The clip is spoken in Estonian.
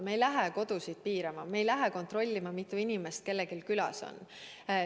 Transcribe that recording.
Me ei lähe kodusid piirama, me ei lähe kontrollima, mitu inimest kellelgi külas on.